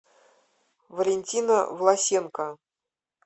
валентина власенко